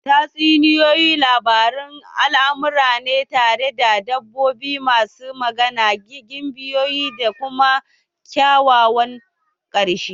Tatsuniyoyi labarun almara ne tare da dabbobi masu magana, gimbiyoyi da kuma kyakkyawan ƙarshe